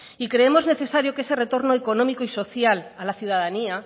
y creemos necesario que ese retorno económico y social a la ciudadanía